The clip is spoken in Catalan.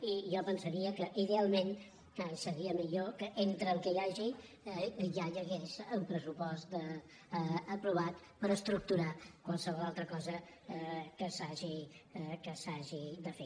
i jo pensaria que idealment seria millor que entre el que hi hagi ja hi hagués un pressupost aprovat per estructurar qualsevol altra cosa que s’hagi de fer